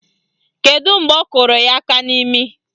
Kedu mgbe ọ kụrụ ya aka n'imi?